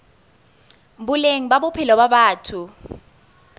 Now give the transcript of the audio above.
boleng ba bophelo ba batho